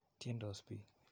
Tyendos piik.